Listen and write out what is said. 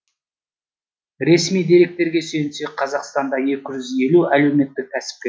ресми деректерге сүйенсек қазақстанда екі жүз елу әлеуметтік кәсіпкер